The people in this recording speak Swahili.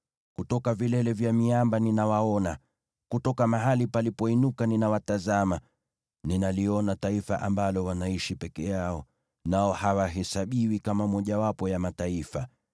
Kutoka vilele vya miamba ninawaona, kutoka mahali palipoinuka ninawatazama. Ninaliona taifa ambalo wanaishi peke yao, nao hawahesabiwi kama mojawapo ya mataifa.